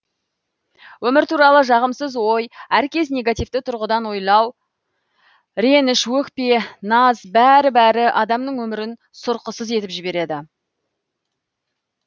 өмір туралы жағымсыз ой әркез негативті тұрғыдан ойлау реніш өкпе наз бәрі бәрі адамның өмірін сұрықсыз етіп жібереді